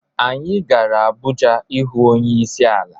Anyi gara Abuja ihu onyeisi ala.